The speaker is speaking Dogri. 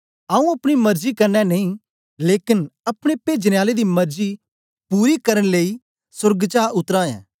आऊँ अपनी मरजी कन्ने नेई लेकन अपने पेजने आले दी मरजी पूरी करन लेई सोर्गा चा उतरा ऐं